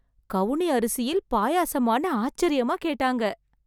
கவுனி அரிசியில் பாயாசமானு ஆச்சர்யமா கேட்டாங்க.